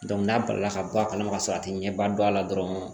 n'a balila ka bɔ a kalama ka sɔrɔ a ti ɲɛba don a la dɔrɔn